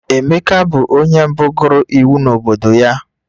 Emeka bụ onye mbụ gụrụ iwu n'obodo ya